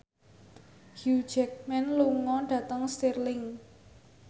Hugh Jackman lunga dhateng Stirling